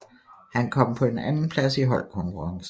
Han kom på en andenplads i holdkonkurrencen